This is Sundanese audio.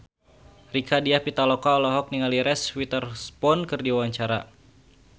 Rieke Diah Pitaloka olohok ningali Reese Witherspoon keur diwawancara